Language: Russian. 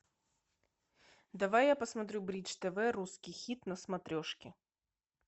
давай я посмотрю бридж тв русский хит на смотрешке